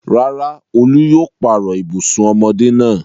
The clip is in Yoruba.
Rárá, Olú yóò pààrọ̀ ibùsùn ọmọdé náà.